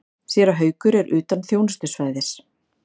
Séra Haukur er utan þjónustusvæðis.